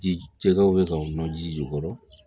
Ji jɛgɛw bɛ ka nɔ ji kɔrɔ